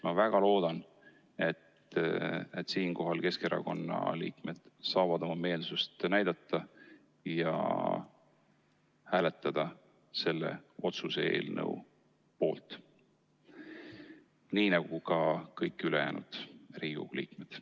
Ma väga loodan, et Keskerakonna liikmed saavad siinkohal oma meelsust näidata ja hääletada selle otsuse eelnõu poolt, nii nagu ka kõik ülejäänud Riigikogu liikmed.